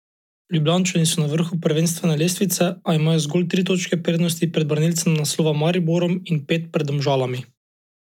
Ljubljančani so na vrhu prvenstvene lestvice, a imajo zgolj tri točke prednosti pred branilcem naslova Mariborom in pet pred Domžalami.